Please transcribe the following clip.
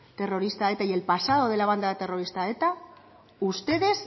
terrorista eta y el pasado de la banda terrorista eta ustedes